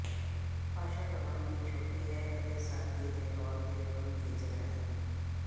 ਭਾਸ਼ਾ ਕਾਨੂੰਨ ਦੀ ਛੋਟੀ ਹੈ ਅਤੇ ਸਾਦਗੀ ਦੇ ਤੌਰ ਤੇ ਗੁਣ ਫੀਚਰ ਹੈ